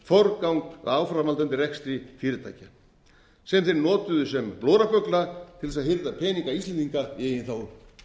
forgang að áframhaldandi rekstri fyrirtækja sem þeir notuðu sem blóraböggla til þess að hirða peninga íslendinga í eigin þágu